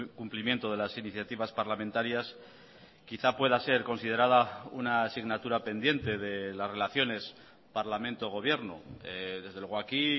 cumplimiento de las iniciativas parlamentarias quizá pueda ser considerada una asignatura pendiente de las relaciones parlamento gobierno desde luego aquí